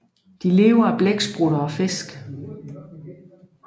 Den lever af blæksprutter og fisk